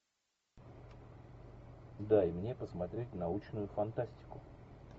дай мне посмотреть научную фантастику